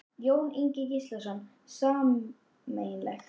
Jón Ingi Gíslason: Sameiginlegt?